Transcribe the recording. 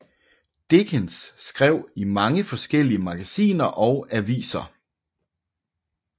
Dickens skrev i mange forskellige magasiner og aviser